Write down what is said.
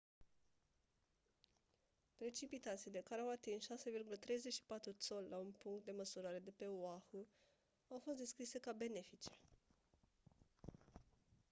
precipitațiile care au atins 6,34 țoli la un punct de măsurare de pe oahu au fost descrise ca «benefice».